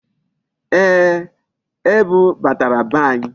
Ee, ebu batara be anyị.